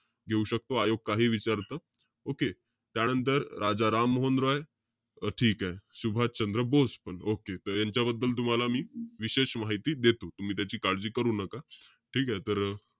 घेऊ शकतो. आयोग काहीहि विचारतं. Okay. त्यानंतर राजाराम मोहन रॉय. ठीके. सुभाष चंद्र बोस पण. Okay. त यांच्याबद्दल तुम्हाला मी विशेष माहिती देतो. तुम्ही त्याची काळजी करू नका. ठीके? तर,